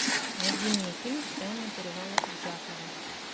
найди мне фильм тайна перевала дятлова